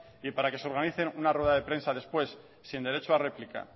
y para que se organice una rueda de prensa después sin derecho a réplica